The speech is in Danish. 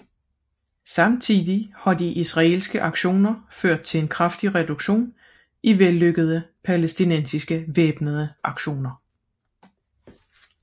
Samtidig har de israelske aktioner ført til en kraftig reduktion i vellykkede palæstinensiske væbnede aktioner